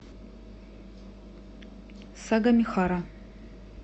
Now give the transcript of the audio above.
сагамихара